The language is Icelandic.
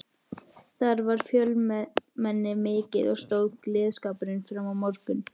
Þar var fjölmenni mikið og stóð gleðskapurinn fram á morgun.